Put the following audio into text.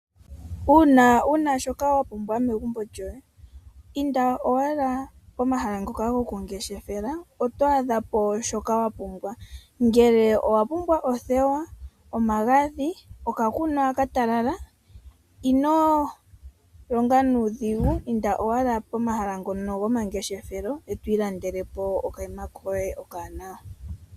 Uuna wuna shoka wa pumbwa megumbo lyoye, inda owala pomahala ngoka goku ngeshefela oto adha po shoka wa pumbwa. Ngele owa pumbwa othewa, omagadhi, oka kunwa ka talala, ino longa nuudhigu inda owala pomahala ngono goma ngeshefelo e to ilandele po okanima koye oka wanawa.